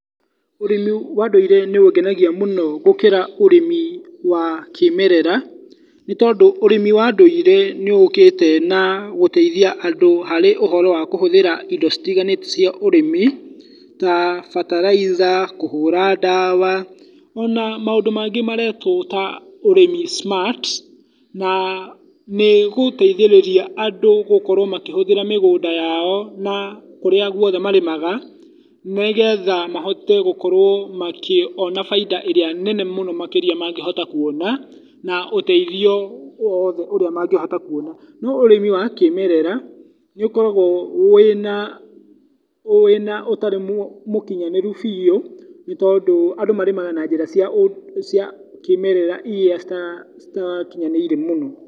Ũrĩmi wa ũndũire nĩũngenagia mũno gũkĩra ũrĩmi wa kĩmerera, nĩtondũ ũrĩmi wa ũndũire nĩũkĩte na gũteithia andũ harĩ ũhoro kũhũthĩra indo citiganĩte cia ũrĩmi, ta bataraitha, kũhũra ndawa, ona maũndũ mangĩ maretwo ta ũrĩmi smart, na nĩgũteithĩrĩria andũ gũkorwa makĩhũthĩra mĩgũnda yao na kũrĩa guothe marĩmaga nĩgetha mahote gũkorwo makĩona baida ĩrĩa nene mũno makĩrĩa mangĩhota kuona, na ũteithio wothe ũrĩa mangĩhota kũona, no ũrĩmi wa kĩmerera nĩũkoragwo ũtarĩ mũkinyanĩru biũ, nĩtondũ andũ marĩmaga na njĩra cia kĩmerera, iria citikinyanĩire mũno.